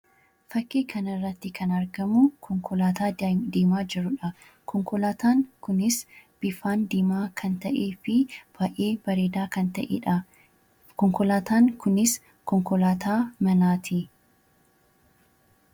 Fakki kana irratti kan arginuu Konkollataa deema jiruudha. Konkollataan kunis bifaan diima kan ta'eefi baay'ee bareeda kan ta'eedha. Konkollataan kunis konkollata manatti.